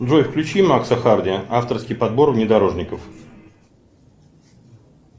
джой включи макса харди авторский подбор внедорожников